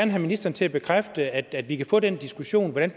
have ministeren til at bekræfte at at vi kan få den diskussion om hvordan